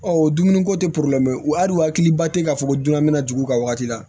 Ɔ dumuni ko tɛ hali u hakiliba tɛ k'a fɔ ko dunna bɛna jigin u ka wagati la